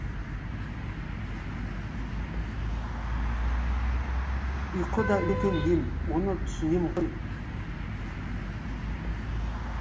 ұйқы да үлкен ем оны түсінем ғой